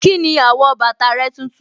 Kíni àwọ̀ bàtà rẹ tuntun.